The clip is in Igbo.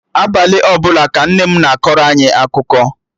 Abalị ọbụla ka Nne m na-akọrọ anyị akụkọ